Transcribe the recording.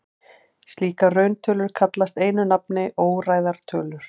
Slíkar rauntölur kallast einu nafni óræðar tölur.